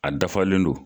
A dafalen don